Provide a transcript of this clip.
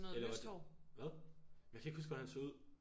Eller var det hvad? Jeg kan ikke huske hvordan han så ud